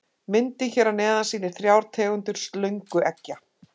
Myndin hér að neðan sýnir þrjár tegundir slöngueggja.